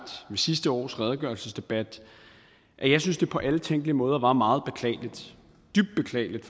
ved sidste års redegørelsesdebat at jeg synes det på alle tænkelige måder var meget beklageligt